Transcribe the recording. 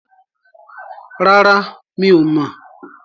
Rárá, mi ò mọ̀.